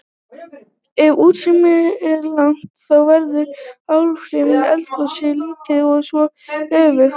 Ef útstreymi er lágt þá verða áhrif eldgossins lítil og svo öfugt.